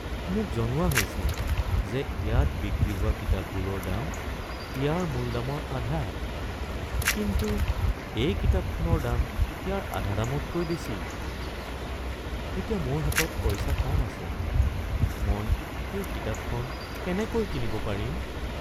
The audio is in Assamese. মোক জনোৱা হৈছিল যে ইয়াত বিক্ৰী হোৱা কিতাপবোৰৰ দাম ইয়াৰ মূল দামৰ আধা কিন্তু এই কিতাপখনৰ দাম ইয়াৰ আধা দামতকৈ বেছি। এতিয়া মোৰ হাতত পইচা কম আছে, মই এই কিতাপখন কেনেকৈ কিনিব পাৰিম?